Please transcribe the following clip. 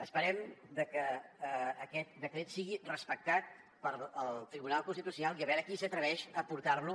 esperem que aquest decret sigui respectat pel tribunal constitucional i a veure qui s’atreveix a portar lo